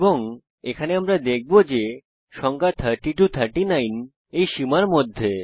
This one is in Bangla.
এবং এখানে আমরা দেখব যে সংখ্যা 30 39 এই সীমার মধ্যে